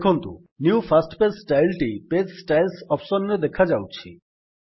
ଦେଖନ୍ତୁ new first page style ଟି page styles option ରେ ଦେଖାଯାଉଛି